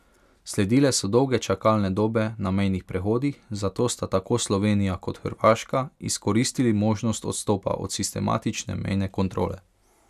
Sledile so dolge čakalne dobe na mejnih prehodih, zato sta tako Slovenija kot Hrvaška izkoristili možnost odstopa od sistematične mejne kontrole.